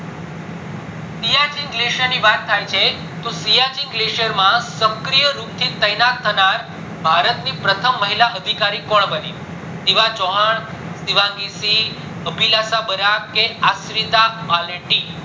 Siachen glacier ની વાત થાય છે તો સિયાચીન glacier માં શર્કીયે રૂપે તૈનાત થનાર ભારત કોણ પ્રથમ મહિલા અધિકારી કોણ બની શિવાંગી ચૌહાણ શિવાંગી સિંહ, અભિલાષા બરાક કે અર્શીતા